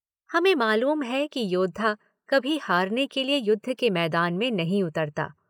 हमें मालूम है कि योद्धा कभी हारने के लिए युद्ध के मैदान में नहीं उतरता।